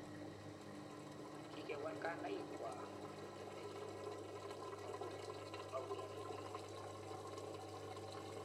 Kikewal kainaikwak ko temel koborunengwa.